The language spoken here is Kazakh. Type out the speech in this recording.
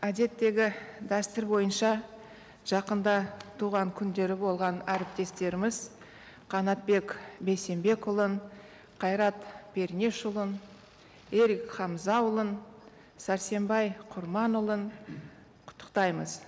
әдеттегі дәстүр бойынша жақында туған күндері болған әріптестеріміз қанатбек бейсенбекұлын қайрат пернешұлын ерік хамзаұлын сәрсенбай құрманұлын құттықтаймыз